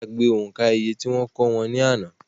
Wọ́n gbàgbé òǹkà iye tí wọ́n kọ́ wọn ní àná